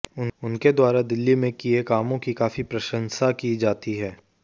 उनके द्वारा दिल्ली में किये कामों की काफी प्रशंसा की जाती है